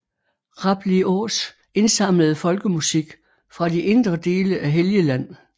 Rabliås indsamlede folkemusik fra de indre dele af Helgeland